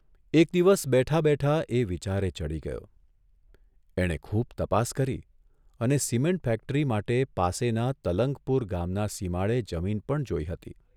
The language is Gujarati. એક દિવસ બેઠા બેઠા એ વિચારે ચઢી ગયોઃ એણે ખુબ તપાસ કરી અને સિમેન્ટ ફેક્ટરી માટે પાસેના તલંગપુર ગામના સિમાડે જમીન પણ જોઇ હતી.